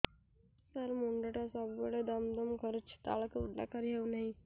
ସାର ମୁଣ୍ଡ ଟା ସବୁ ବେଳେ ଦମ ଦମ କରୁଛି ତଳକୁ ମୁଣ୍ଡ କରି ହେଉଛି ନାହିଁ